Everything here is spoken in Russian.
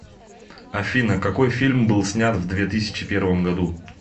афина какой фильм был снят в две тысячи первом году